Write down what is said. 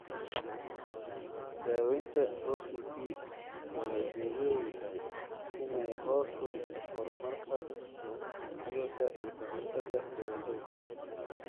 Daaweynta OCP waxay ujeedadeedu tahay inay hoos u dhigto horumarka cudurka iyo ka hortagga dhibaatooyinka.